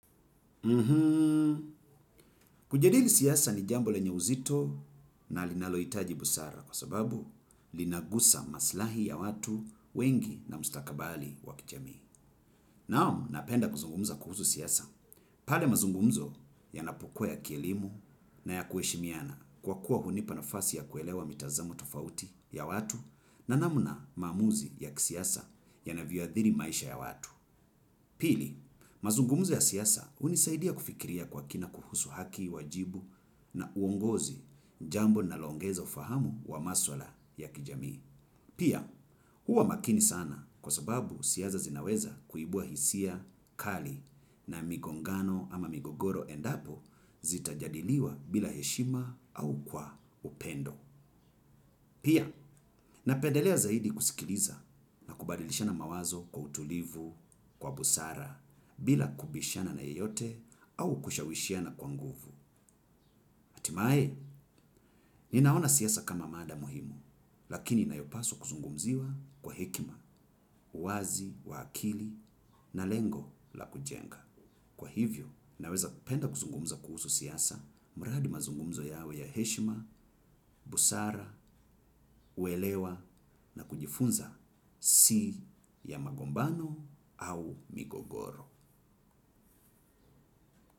Kujadili siasa ni jambo lenye uzito na linalohitaji busara kwa sababu linagusa maslahi ya watu wengi na mustakabali wa kijamii. Naam napenda kuzungumza kuhusu siasa. Pale mazungumzo yanapokua ya kielimu na ya kuheshimiana kwa kuwa hunipa nafasi ya kuelewa mitazamo tofauti ya watu na namna maamuzi ya kisiasa yanavyoadhiri maisha ya watu. Pili, mazungumuzionya siasa hunisaidia kufikiria kwa kina kuhusu haki wajibu na uongozi jambo linaloongeza ufahamu wa maswala ya kijamii. Pia, huwa makini sana kwa sababu siasa zinaweza kuibua hisia kali na migongano ama migogoro endapo zitajadiliwa bila heshima au kwa upendo. Pia, napendelea zaidi kusikiliza na kubadilishana mawazo kwa utulivu, kwa busara, bila kubishana na yeyote au kushawishiana kwa nguvu. Hatimae, ninaona siasa kama mada muhimu, lakini nayopaswa kuzungumziwa kwa hekima, uwazi, wa akili, na lengo la kujenga. Kwa hivyo, naweza penda kuzungumza kuhusu siasa, mradi mazungumzo yawe ya heshima, busara, uelewa na kujifunza si ya magombano au migogoro.